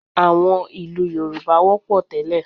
À̀wọn ìlú Yorùbá wọ́pọ̀ tẹ́lẹ̀